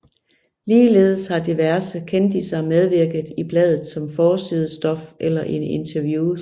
Ligeledes har diverse kendisser medvirket i bladet som forsidestof eller i interviews